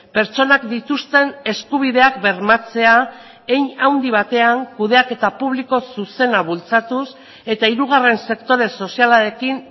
pertsonak dituzten eskubideak bermatzea hein handi batean kudeaketa publiko zuzena bultzatuz eta hirugarren sektore sozialarekin